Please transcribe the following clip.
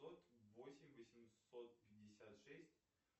код восемь восемьсот пятьдесят шесть